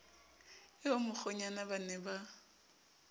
eo mokgwenyana ba ne ba